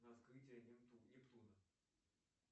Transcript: раскрытие нептуна